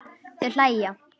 Þau hlæja.